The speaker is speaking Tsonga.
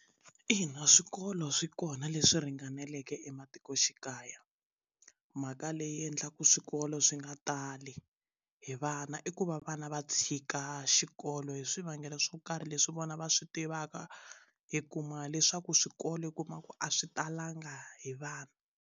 Ina swikolo swi kona leswi ringaneleke ematikoxikaya mhaka leyi endlaku swikolo swi nga tali hi vana i ku va vana va tshika xikolo hi swivangelo swo karhi leswi vona va swi tivaka i kuma leswaku swikolo u kuma ku a swi talanga hi vana.